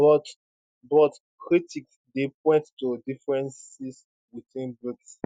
but but critics dey point to differences within brics